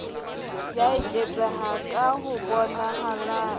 ya eketseha ka ho bonahalang